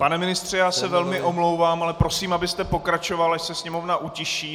Pane ministře, já se velmi omlouvám, ale prosím, abyste pokračoval, až se sněmovna utiší.